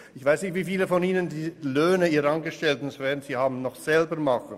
Ich weiss nicht, wie viele von Ihnen die Löhne ihrer Angestellten noch selber administrativ bearbeiten.